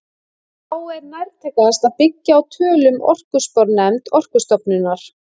Þá er nærtækast að byggja á tölum orkuspárnefnd Orkustofnunar.